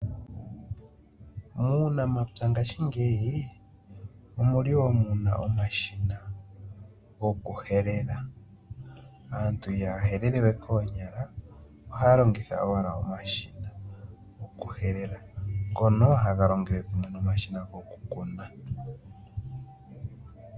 Muunamapya ngaashingeyi omuli woo muna omashina gokuhelela. Aantu ihaya helele we koonyala ohaa longitha owala omashina gokuhelela ngono haga longele kumwe nomashina gokukuna.